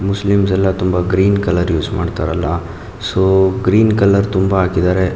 Muslims ಎಲ್ಲಾ ತುಂಬಾ green colour use ಮಾಡತ್ತರಲ್ಲಾ ಸೋ ಗ್ರೀನ್ ಕಲರ್ ತುಂಬಾ ಹಾಕಿದ್ದಾರೆ.